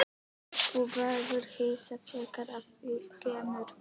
Þú verður hissa þegar að því kemur.